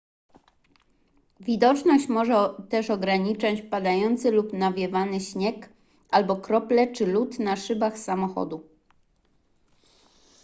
widoczność może też ograniczać padający lub nawiewany śnieg albo krople czy lód na szybach samochodu